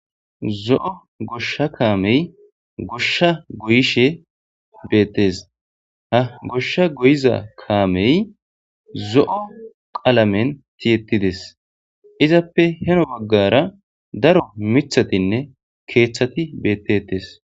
zo7o goshsha kaamey goshsha guyishe beettes ha goshsha guyiza kaamey zo7o qalamen tiyettides izappe heno baggara daro mithatinne keeththati beettetes